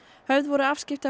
höfð voru afskipti af